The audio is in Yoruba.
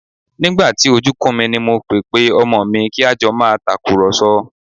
Nígbà tí ojú kún mi ni mo pe pé ọmọ mi kí a jọ máa tàkùrọ̀sọ